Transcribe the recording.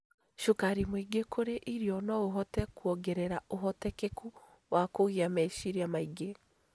Cukari mwingĩ kũrĩ irio no ũhote kuongerera ũhotekeku wa kũgĩa meciria maingĩ.